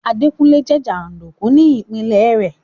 Adékúnlé jẹ́ jàndùkù ní ìpinlẹ̀ rẹ̀